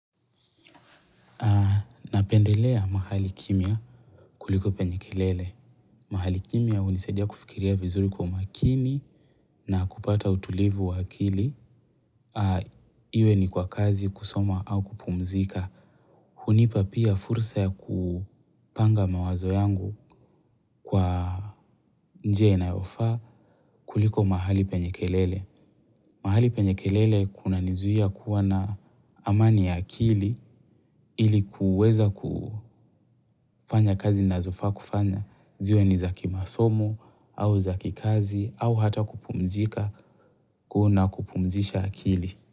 Napendelea mahali kimya kuliko penye kelele. Mahali kimya hunisaidia kufikiria vizuri kwa umakini na kupata utulivu wa akili. Iwe ni kwa kazi kusoma au kupumzika. Hunipa pia fursa ya kupanga mawazo yangu kwa njia inayofaa kuliko mahali penye kelele. Mahali penye kelele kunanizuia kuwa na amani ya akili ili kuweza ku kufanya kazi ninazofaa kufanya. Ziwe niza kimasomo au za kikazi au hata kupumzika kuna kupumzisha akili.